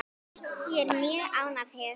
Ég er mjög ánægð hér.